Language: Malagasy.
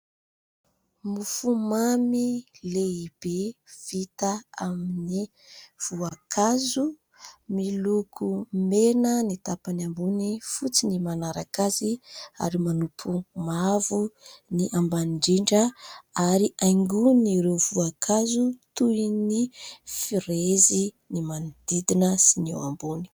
Mofomamy lehibe vita amin'ny voankazo, miloko mena ny tapany ambony, fotsy ny manaraka azy ary manompo mavo ny ambany indrindra ary haingon'ireo voankazo toy ny frezy ny manodidina sy ny eo ambony.